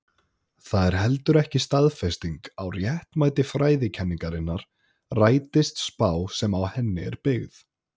Það er heldur ekki staðfesting á réttmæti fræðikenningarinnar rætist spá sem á henni er byggð.